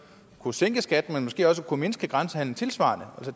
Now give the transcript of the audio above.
kunne sænke skatten man måske også kunne mindske grænsehandelen tilsvarende